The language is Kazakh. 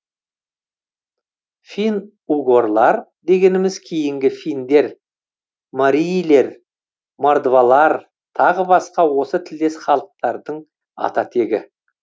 фин угорлар дегеніміз кейінгі финдер марийлер мордвалар тағы басқа осы тілдес халықтардың ата тегі